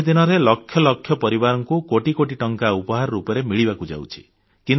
ଶହେ ଦିନରେ ଲକ୍ଷ ଲକ୍ଷ ପରିବାରଙ୍କୁ କୋଟି କୋଟି ଟଙ୍କା ଉପହାର ରୂପେ ମିଳିବାକୁ ଯାଉଛି